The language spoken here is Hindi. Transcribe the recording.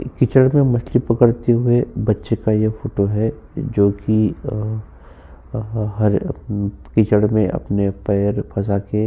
एक कीचड़ मे मछली पकड़ते हुये बच्चे का ये फोटो है जों की अ अ अ हरे अ कीचड़ मे अपने पैर फसाके --